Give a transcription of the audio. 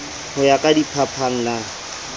ho ya ka diphapang na